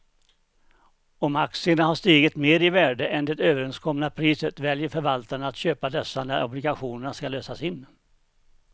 Om aktierna har stigit mer i värde än det överenskomna priset väljer förvaltaren att köpa dessa när obligationen ska lösas in.